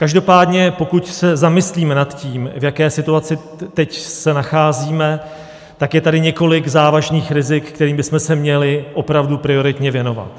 Každopádně pokud se zamyslíme nad tím, v jaké situaci teď se nacházíme, tak je tady několik závažných rizik, kterým bychom se měli opravdu prioritně věnovat.